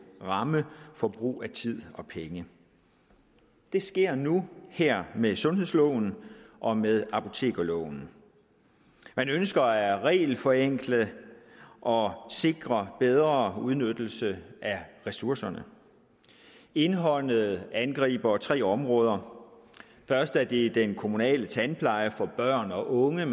ramme for brug af tid og penge det sker nu her med sundhedsloven og med apotekerloven man ønsker at regelforenkle og sikre bedre udnyttelse af ressourcerne indholdet angriber tre områder først er det den kommunale tandpleje for børn og unge